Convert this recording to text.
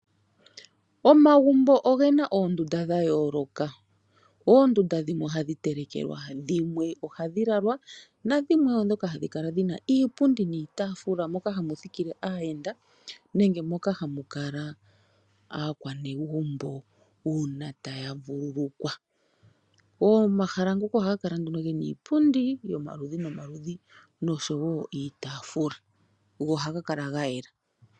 Omagumbo ogena oondunda dhayoloka, oondunda dhimwe ohadhi telekelwa, dhimwe ohadhi lalalwa nadhimwe oondhoka hadhi kala dhina iipundi niitafula moka hamuthikile aayenda nenge moka hamukala aakwanegumbo uuna taya vululukwa omahala ngaka ohaga kala gena iipundi, yomaludhi nomaludhi nosho woo iitafula go ohaga kala gayela.